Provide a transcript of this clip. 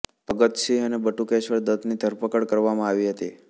ભગત સિંહ અને બટુકેશ્વર દત્તની ધરપકડ કરવામાં આવી હતી